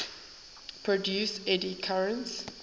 produce eddy currents